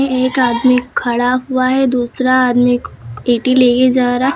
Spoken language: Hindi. एक आदमी खड़ा हुआ है। दूसरा आदमी ईटे लेकर जा रहा।